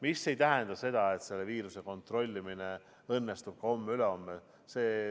Aga see ei tähenda seda, et viiruse kontrollimine õnnestub ka homme-ülehomme.